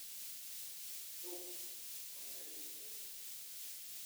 Toom kong'ering'itu.